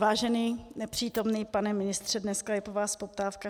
Vážený nepřítomný pane ministře, dneska je po vás poptávka.